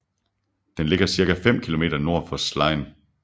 Den ligger cirka fem km nord for Slien